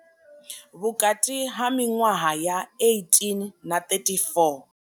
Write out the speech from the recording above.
Vhukati ha miṅwaha ya 18 na 34.